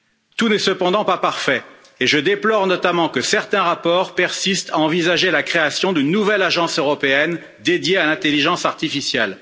Tout n'est cependant pas parfait et je déplore notamment que certains rapports persistent à envisager la création d'une nouvelle agence européenne dédiée à l'intelligence artificielle.